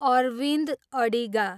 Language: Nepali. अरविन्द अडिगा